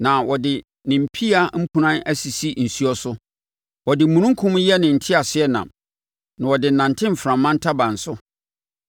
na ɔde ne mpia mpunan sisi nsuo so. Ɔde omununkum yɛ ne teaseɛnam na ɔde nante mframa ntaban so.